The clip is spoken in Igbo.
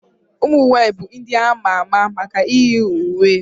ụmụnwaanyị bụ ndị a ma ama maka iyi uwe